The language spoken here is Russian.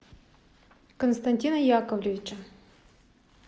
константина яковлевича